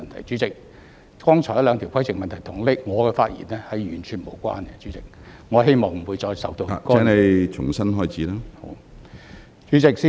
主席，剛才兩項規程問題與我的發言完全無關，我希望不會再受到干擾。